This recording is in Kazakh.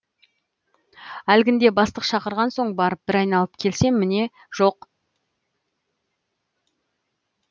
әлгінде бастық шақырған соң барып бір айналып келсем міне жоқ